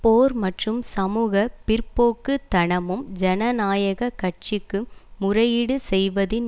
போர் மற்றும் சமூக பிற்போக்குத்தனமும் ஜனநாயக கட்சிக்கு முறையீடு செய்வதின்